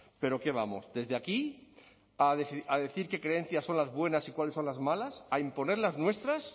pero qué vamos desde aquí a decir qué creencias son las buenas y cuáles son las malas a imponer las nuestras